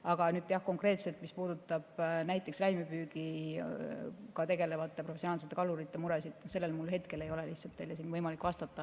Aga nüüd konkreetselt sellele, mis puudutab näiteks räimepüügiga tegelevate professionaalsete kalurite muresid, mul hetkel lihtsalt ei ole võimalik vastata.